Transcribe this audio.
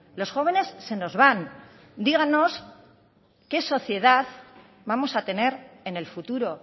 los jóvenes se nos van dígannos qué sociedad vamos a tener en el futuro